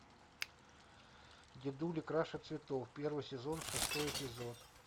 дедули краше цветов первый сезон шестой эпизод